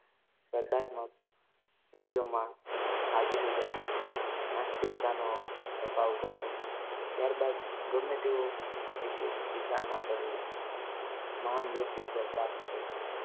સ્પર્ધાત્મક વિષયોમાં હાજરી રાખવી નાસ્તિકતાનો અભાવ કરવો. ત્યારબાદ ગમે તેવો વિષય વિચારણા કરવી. મહાન વ્યક્તિત્વ પ્રાપ્ત કરવું